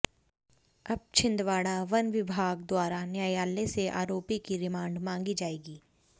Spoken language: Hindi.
अब छिंदवाड़ा वन विभाग द्वारा न्यायालय से आरोपी की रिमांड मांगी जाएंगी